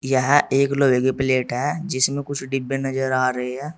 यहां एक लोहे की प्लेट है जिसमें कुछ डिब्बे नजर आ रही है।